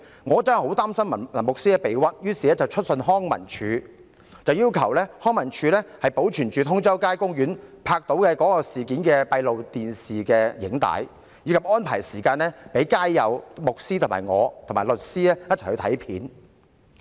我真的很擔心牧師被誣衊，於是致函康樂及文化事務署，要求康文署保存通州街公園閉路電視拍下有關事件的錄影帶，以及安排時間讓街友、牧師、我和律師一同前往翻看片段。